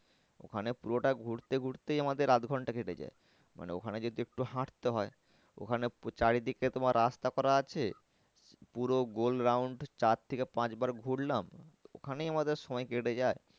ওখানে পুরোটা ঘুরতে ঘুরতেই আমাদের আধ ঘন্টা কেটে যায়। মানে ওখানে যদিও একটু হাটতে ওখানে চারিদিকে তোমার রাস্তা করা আছে পুরো round চার থেকে পাঁচ বার ঘুরলাম ওখানেই আমাদের সময় কেটে যাই